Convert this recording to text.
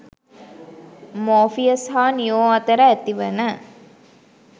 Morpheus හා Neo අතර ඇතිවන